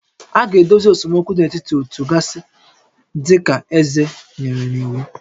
A ga-edozi esemokwu dị n'etiti ótú gasị dị ka eze nyere n'iwu